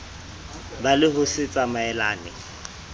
ba le ho se tsamaelane